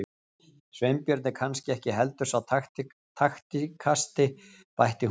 Sveinbjörn er kannski ekki heldur sá taktískasti- bætti hún svo við.